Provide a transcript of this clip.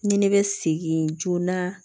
Ni ne bɛ segin joona